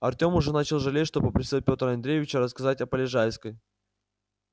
артем уже начал жалеть что попросил петра андреевича рассказать о полежаевской